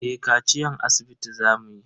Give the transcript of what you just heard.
Eh kaciyan asibiti za mu yi.